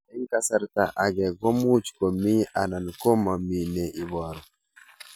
Eng' kasarta ag'e ko much ko mii anan komamii ne ibaru